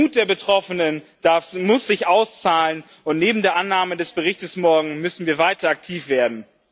Der Mut der Betroffenen muss sich auszahlen, und neben der Annahme des Berichtes morgen müssen wir weiter aktiv werden.